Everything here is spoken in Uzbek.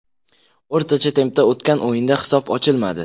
O‘rtacha tempda o‘tgan o‘yinda hisob ochilmadi.